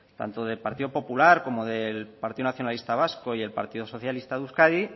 tanto del partido popular como del partido nacionalista vasco y el partido socialista de euskadi